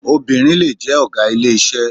Obìnrin lè jẹ́ ọ̀gá ilé iṣẹ́.